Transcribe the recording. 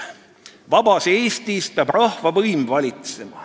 ": "Vabas Eestis peab rahva võim valitsema.